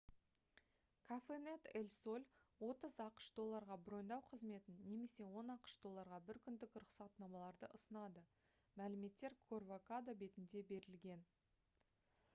cafenet el sol 30 ақш долларға броньдау қызметін немесе 10 ақш долларға бір күндік рұқсатнамаларды ұсынады мәліметтер corvocado бетінде берілген